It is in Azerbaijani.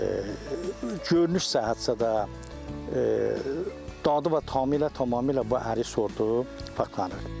Görünüş cəhətdə də, dadı və tamı ilə tamamilə bu ərik sortu fərqlənir.